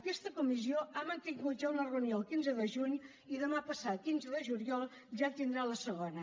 aquesta comissió ha mantingut ja una reunió el quinze de juny i demà passat quinze de juliol ja tindrà la segona